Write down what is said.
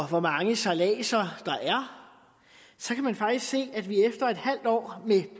hvor mange sejladser der er så kan man faktisk se at vi efter et halvt år med